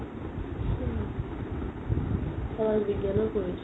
সমাজ বিজ্ঞান